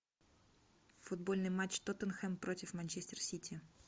футбольный матч тоттенхэм против манчестер сити